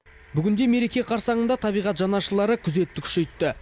бүгінде мереке қарсаңында табиғат жанашырлары күзетті күшейтті